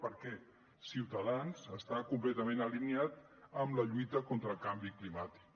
perquè ciutadans està completament alineat amb la lluita contra el canvi climàtic